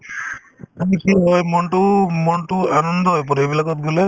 আমি কি হয় মনতো‍‍ও~ মনতো আনন্দ হৈ পৰে এইবিলাকত গ'লে